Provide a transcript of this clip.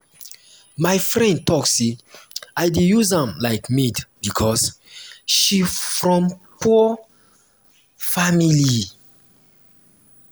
my friend tok sey i dey use am like maid because she from poor family.